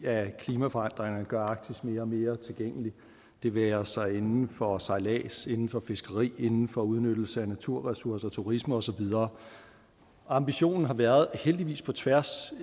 klimaforandringerne gør arktis mere og mere tilgængeligt det være sig inden for sejlads inden for fiskeri inden for udnyttelse af naturressourcer turisme og så videre ambitionen har været heldigvis på tværs